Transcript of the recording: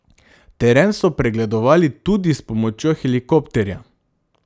Teren so pregledovali tudi s pomočjo helikopterja.